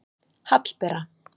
Hallbera